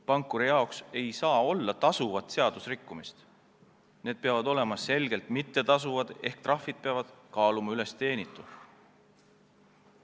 Pankuri jaoks ei saa olla tasuvat seadusrikkumist, selline tegevus peab olema selgelt mittetasuv ehk siis trahvid peavad teenitu üles kaaluma.